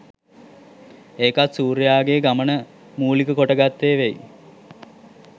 එකක් සූර්යයාගේ ගමන මූලික කොට ගත්තේ වෙයි